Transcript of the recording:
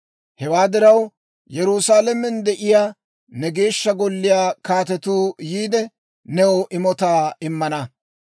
Hewaa diraw, Yerusaalamen de'iyaa ne Geeshsha Golliyaa kaatetuu yiide, new imotaa immana.